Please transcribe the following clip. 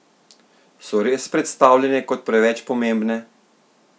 So res predstavljene kot preveč pomembne?